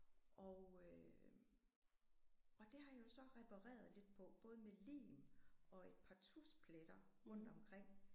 Og øh og det har jeg jo så repareret lidt på både med lim og et par tuschpletter rundt omkring